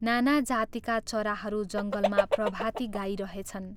नाना जातिका चराहरू जङ्गलमा प्रभाती गाइरहेछन्।